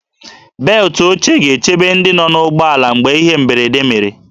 Beltụ oche ga-echebe ndị nọ n'ụgbọala mgbe ihe mberede mere